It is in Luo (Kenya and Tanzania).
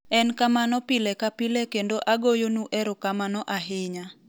en kamano pile ka pile kendo agoyo nu erokamano ahinya."